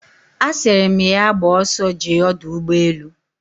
Asiri my ya gba oso jee Odu Ugbe elu